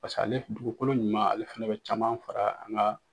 ale dugukolo ɲuman ale fana bɛ caman fara an ka.